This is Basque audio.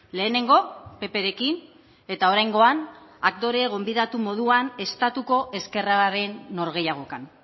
lehenengo pprekin eta oraingoan aktore gonbidatu moduan estatuko ezkerraren norgehiagokan